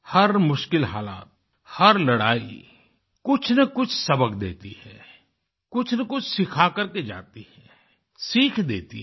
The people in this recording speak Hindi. हर मुश्किल हालात हर लड़ाई कुछनकुछ सबक देती है कुछनकुछ सिखा करके जाती है सीख देती है